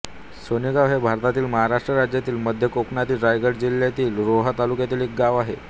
सानेगाव हे भारतातील महाराष्ट्र राज्यातील मध्य कोकणातील रायगड जिल्ह्यातील रोहा तालुक्यातील एक गाव आहे